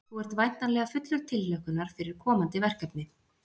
Þú ert væntanleg fullur tilhlökkunar fyrir komandi verkefni?